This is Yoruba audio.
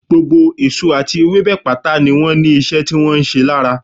Gbogbo èso àti ewébẹ̀ pátá ni wọ́n ní ìṣe tí wọ́n ń ṣe lára